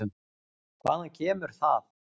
Hvaðan kemur það?